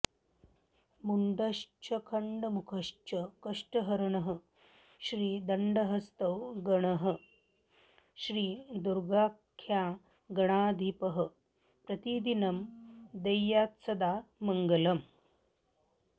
मुण्डश्चण्डमुखश्च कष्टहरणः श्रीदण्डहस्तो गणः श्रीदुर्गाख्यगणाधिपः प्रतिदिनं देयात्सदा मङ्गलम्